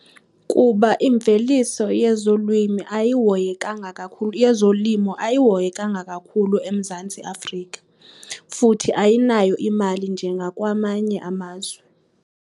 Kuba imveliso yezolwimi ayihoyekanga kakhulu, yezolimo ayihoyekanga kakhulu eMzantsi Afrika futhi ayinayo imali njengakwamanye amazwe.